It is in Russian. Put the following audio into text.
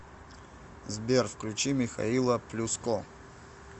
сбер включи михаила плюско